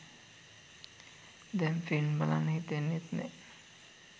දැන් ෆිල්ම් බලන්න හිතෙන්නෙත් නෑ.